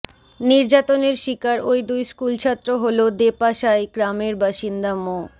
নির্যাতনের শিকার ওই দুই স্কুলছাত্র হলো দেপাশাই গ্রামের বাসিন্দা মো